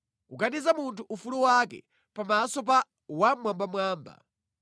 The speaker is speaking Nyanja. kukaniza munthu ufulu wake pamaso pa Wammwambamwamba,